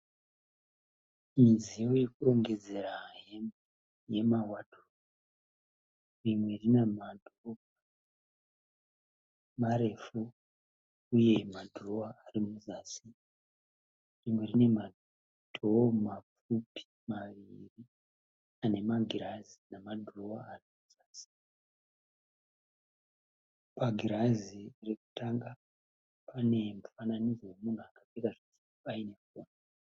Midziyo yekurongedzera hembe yemadhiropu. Rimwe rine madhoo marefu uye madhirowa ari muzasi. Rimwe rine madhoo mapfupi maviri ane magirazi nemadhirowa ari pazasi. Pagirazi rekutanga, pane mufananidzo wemunhu akapfeka zvitsvuku ayine foni.